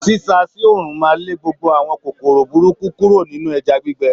Sisa sí òòrùn máa lé gbogbo àwọn kòkòrò burúkú kúrò nínú ẹja gbígbẹ.